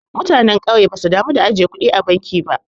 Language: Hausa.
Mutanen kauye basu damu da ajiye kudi a banki ba.